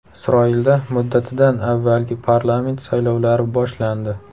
Isroilda muddatidan avvalgi parlament saylovlari boshlandi.